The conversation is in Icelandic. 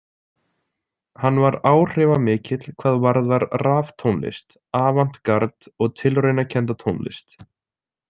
Hann var áhrifamikill hvað varðar raftónlist, avant-gard og tilraunakennda tónlist.